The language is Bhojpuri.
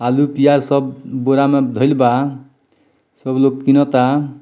आलू प्याज सब बोरा में धईल बा सब लोग किनअ ता।